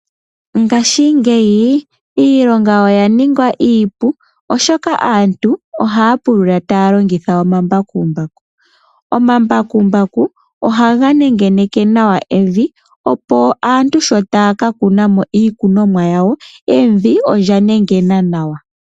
Ngaashingeyi iilonga oya ningwa iipu, oshoka aantu ohaa pulula taya longitha omambakumbaku. Omambakumbaku ohaga nengeneke nawa evi, opo aantu shi taya ka kuna mo iikunomwa yawo evi olya nengena nawa.